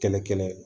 Kɛlɛ kɛlɛ